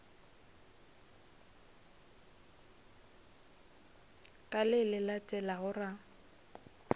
ka le le latelago ra